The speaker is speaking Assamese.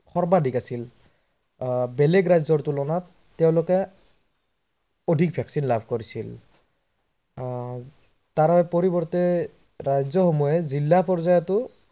সৰ্বাধিক আছিল। আহ বেলেগ ৰাজ্যৰ তোলনাত তেওলোকে অধিক vaccine লাভ কৰিছিল। আহ তাৰ পৰিবৰ্তে ৰাজ্য সমূহে জিলা পৰ্যায়টো